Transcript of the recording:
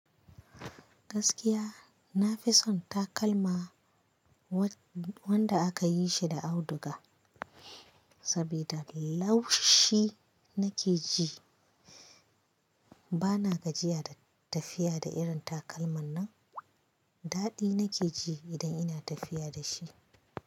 Gaskiya nafi son takalma wanda aka yi shi da auduga, saboda laushi nake ji. Bana gajiya da tafiya da irin takalman nan. Daɗi nake ji idan ina tafiya da shi.